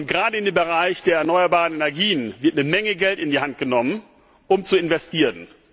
Gerade in dem Bereich der erneuerbaren Energien wird eine Menge Geld in die Hand genommen, um zu investieren.